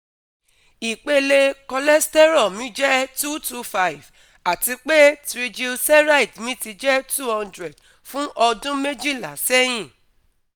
Ìpele cholesterol mi jẹ́ 225, àti pé triglyceride mi ti jẹ́ 200 fún ọdún méjìlá sẹ́yìn